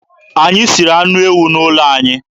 Anyị siri anụ ewu n'ụlọ anyị.